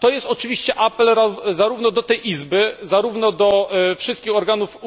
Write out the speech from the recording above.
To jest oczywiście apel zarówno do tej Izby, jak i do wszystkich organów